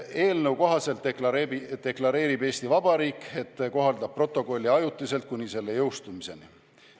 Eelnõu kohaselt deklareerib Eesti Vabariik, et kohaldab protokolli ajutiselt kuni selle jõustumiseni.